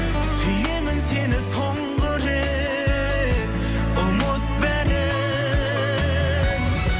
сүйемін сені соңғы рет ұмыт бәрін